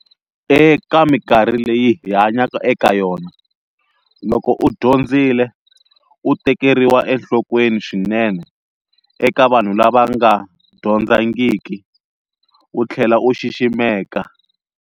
Eka munkarhi leyi hi hanyaka eka yona loko u dyondzile u tekeriwa enhlokweni swinene eka vanhu lava va nga dyondzangiku, u tlhela u xiximeka.